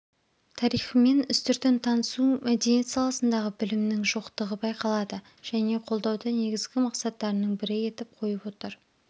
тарихымен үстіртін танысу мәдениет саласындағы білімнің жоқтығы байқалады және қолдауды негізгі мақсаттарының бірі етіп қойып отыр